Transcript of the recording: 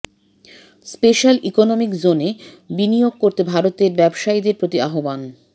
special economic জোনে বিনিয়োগ করতে ভারতের ব্যবসায়ীদের প্রতি আহ্বান